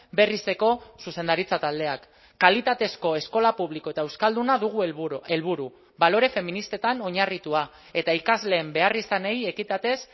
berrizeko zuzendaritza taldeak kalitatezko eskola publiko eta euskalduna dugu helburu helburu balore feministetan oinarritua eta ikasleen beharrizanei ekitatez